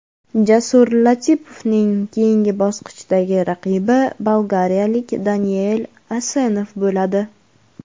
Jasur Latipovning keyingi bosqichdagi raqibi bolgariyalik Daniel Asenov bo‘ladi.